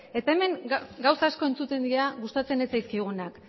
eta hemen gauza asko entzuten dira gustatzen ez zaizkigunak